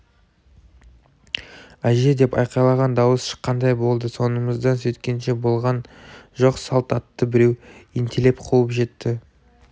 әже деп айқайлаған дауыс шыққандай болды соңымыздан сөйткенше болған жоқ салт атты біреу ентелеп қуып жетті